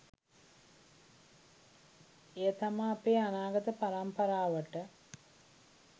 එය තමා අපේ අනාගත පරම්පරාවට